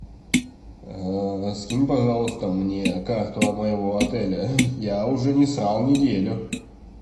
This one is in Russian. скинь пожалуйста мне карту моего отеля я уже не срал неделю